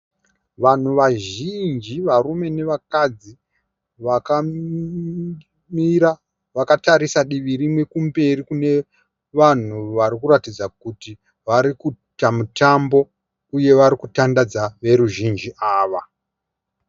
Vanhu vazhinji varume nevakadzi vakamira vakatarisa divi rimwe kumberi kune vanhu varikuratidza kuti varikuita mutambo uye varikutandadza veruzhinji ava.